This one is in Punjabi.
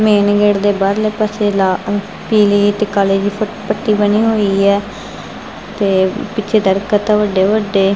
ਮੇਨ ਗੇਟ ਦੇ ਬਾਹਰਲੇ ਪਾਸੇ ਲਾ ਪੀਲੀ ਅਤੇ ਕਾਲੀ ਜੀ ਪੱਟੀ ਬਣੀ ਹੋਈ ਹੈ ਤੇ ਪਿੱਛੇ ਦਰਖਤ ਵੱਡੇ ਵੱਡੇ--